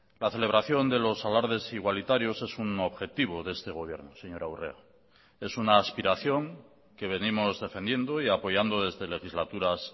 la celebración de los alardes igualitarios es un objetivo de este gobierno señora urrea es una aspiración que venimos defendiendo y apoyando desde legislaturas